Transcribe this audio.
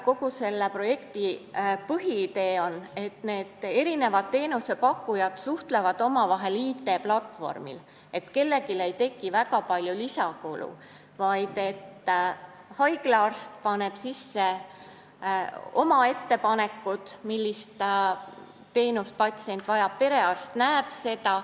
Kogu selle projekti põhiidee on, et kõik teenusepakkujad suhtlevad omavahel IT-platvormil, nii et kellelegi ei teki väga palju lisakulu, vaid haigla arst teeb oma ettepanekud, millist teenust patsient vajab, ja perearst näeb seda.